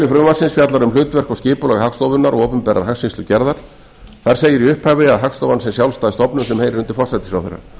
frumvarpsins fjallar um hlutverk og skipulag hagstofunnar og opinberrar hagskýrslugerðar þar segir í upphafi að hagstofan sé sjálfstæð stofnun sem heyri undir forsætisráðherra